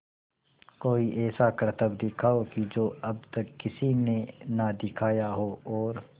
कोई ऐसा करतब दिखाओ कि जो अब तक किसी ने ना दिखाया हो और